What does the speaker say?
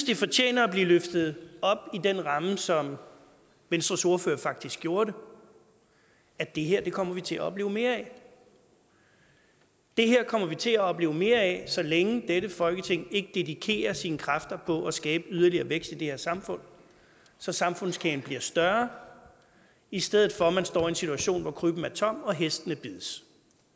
det fortjener at blive løftet op i den ramme som venstres ordfører faktisk gjorde det at det her kommer vi til at opleve mere af det her kommer vi til at opleve mere af så længe dette folketing ikke dedikerer sine kræfter på at skabe yderligere vækst i det her samfund så samfundskagen bliver større i stedet for at man står i en situation hvor krybben er tom og hestene bides